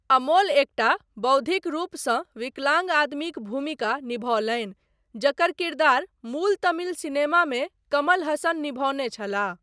अमोल एकटा बौद्धिक रूपसँ विकलांग आदमीक भूमिका निभौलनि, जकर किरदार मूल तमिल सिनेमामे कमल हासन निभौने छलाह।